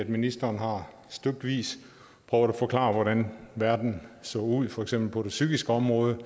ministeren har stykvis prøvet at forklare hvordan verden ser ud for eksempel på det psykiske område